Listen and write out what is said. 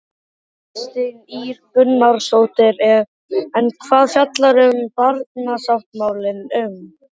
Kristín Ýr Gunnarsdóttir: En hvað fjallar barnasáttmálinn um?